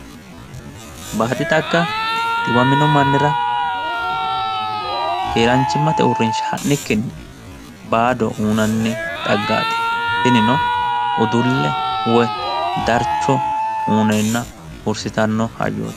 baaadi xagga xiwamino mannira keeraanchimmate uurrinsha ha'nikkinni baado uyiinanni xaggaati tinino udulle woyi darcho uyiineenna hursitanno hayyooti.